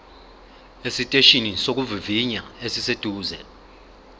esiteshini sokuvivinya esiseduze